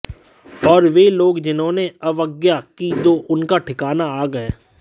और वे लोग जिन्होंने अवज्ञा की तो उनका ठिकाना आग है